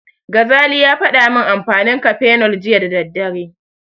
Gazali ya faɗa min amfanin Cafenol jiya da daddare.